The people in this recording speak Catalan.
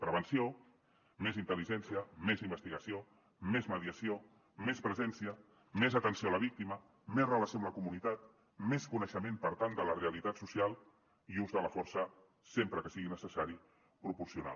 prevenció més intel·ligència més investigació més mediació més presència més atenció a la víctima més relació amb la comunitat més coneixement per tant de la realitat social i ús de la força sempre que sigui necessari proporcional